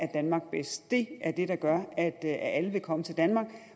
danmark bedst det er det der gør at alle vil komme til danmark